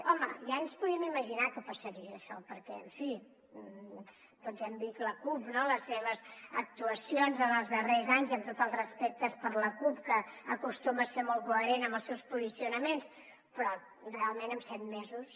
home ja ens podíem imaginar que passaria això perquè en fi tots hem vist la cup les seves actuacions en els darrers anys amb tots els respectes per la cup que acostuma a ser molt coherent amb els seus posicionaments però realment en set mesos